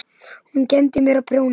Hún kenndi mér að prjóna.